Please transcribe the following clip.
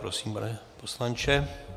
Prosím, pane poslanče.